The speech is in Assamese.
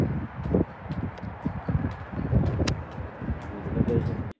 উম তেনেকুৱা পিছত